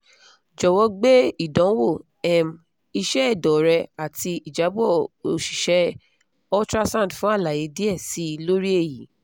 jowo gbe idanwo um iṣẹ ẹdọ rẹ ati ijabọ osise ultrasound fun alaye diẹ sii lori eyi